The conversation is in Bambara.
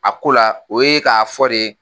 A ko la o ye k'a fɔ de